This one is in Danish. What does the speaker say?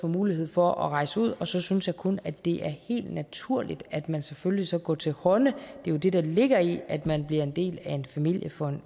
mulighed for at rejse ud og så synes jeg kun det er helt naturligt at man selvfølgelig så går til hånde det er jo det der ligger i at man bliver en del af en familie for